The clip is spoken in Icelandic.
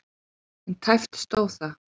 En tæpt stóð það.